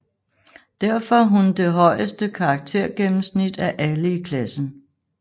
Derfor hun det højeste karaktergennemsnit af alle i klassen